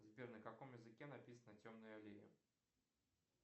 сбер на каком языке написана темная аллея